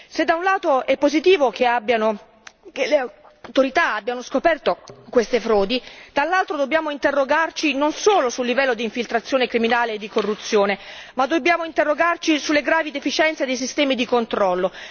Se da un lato è positivo che le autorità abbiano scoperto queste frodi, dall'altro dobbiamo interrogarci non solo sul livello di infiltrazione criminale e di corruzione ma anche sulle gravi deficienze dei sistemi di controllo.